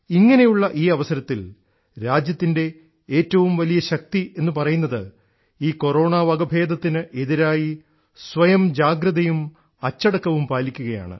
ഇങ്ങനെയുള്ള ഈ അവസരത്തിൽ രാജ്യത്തിൻറെ ഏറ്റവും വലിയ ശക്തി എന്ന് പറയുന്നത് ഈ കൊറോണാവകഭേദത്തിന് എതിരായി സ്വയം ജാഗ്രതയും അച്ചടക്കവും പാലിക്കുകയാണ്